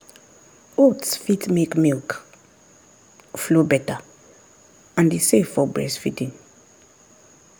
oats fit make milk flow better and e safe for breastfeeding.